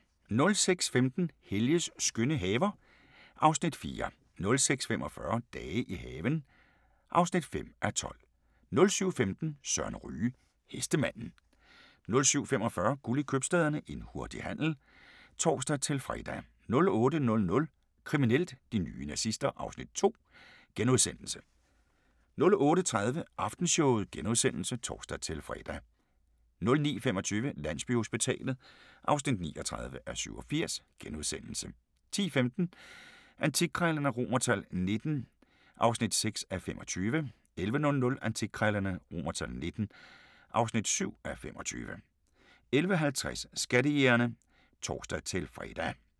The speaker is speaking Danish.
06:15: Helges skønne haver (Afs. 4) 06:45: Dage i haven (5:12) 07:15: Søren Ryge: Hestemanden 07:45: Guld i købstæderne – en hurtig handel (tor-fre) 08:00: Kriminelt: De nye nazister (Afs. 2)* 08:30: Aftenshowet *(tor-fre) 09:25: Landsbyhospitalet (39:87)* 10:15: Antikkrejlerne XVIIII (6:25) 11:00: Antikkrejlerne XVIIII (7:25) 11:50: Skattejægerne (tor-fre)